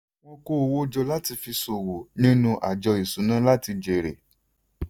wọ́n kó owó jọ láti fi ṣòwò nínú àjọ ìṣúná láti jèrè.